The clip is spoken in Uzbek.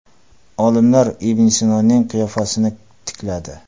Olimlar Ibn Sinoning qiyofasini tikladi.